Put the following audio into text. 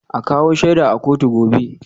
A kawo shaida a kotu gobe